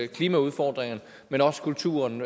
klimaudfordringerne men også kulturen